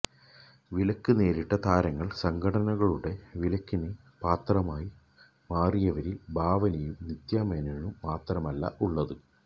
വിലക്ക് നേരിട്ട താരങ്ങള് സംഘടനകളുടെ വിലക്കിന് പാത്രമായി മാറിയവരില് ഭാവനയും നിത്യ മേനോനും മാത്രമല്ല ഉള്ളത്